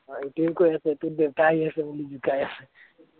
এইটোৱে কৈ আছে তোৰ দেউতা আহি আছে বুুলি জোকাই আছে